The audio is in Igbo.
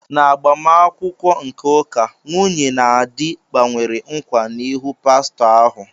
N'agbamakwụkwọ nke ụka, nwunye na di gbanwere nkwa n'ihu pastọ ahụ.